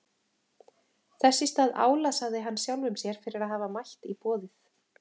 Þess í stað álasaði hann sjálfum sér fyrir að hafa mætt í boðið.